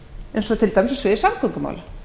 eins og til dæmis í samgöngumálum